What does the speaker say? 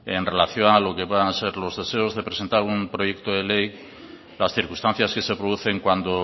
en relación a lo que puedan ser los deseos de presentar un proyecto de ley las circunstancias que se producen cuando